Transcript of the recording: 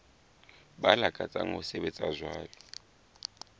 ba lakatsang ho sebetsa jwalo